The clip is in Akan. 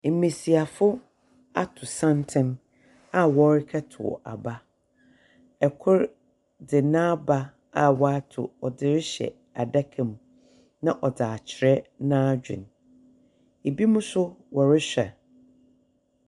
Mbesiafo ato santsen a wɔrekɛtow aba. Kor dze n'aba a wato ɔdze rehyɛ adaka mu, na ɔdze akyerɛ n'adwen. Ebinom nso wɔrehwɛ.